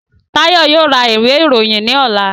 Tayo yoo ra iwe iroyin ni ọla